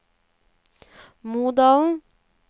Modalen